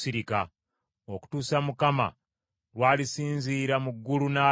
okutuusa Mukama lw’alisinzira mu ggulu n’alaba.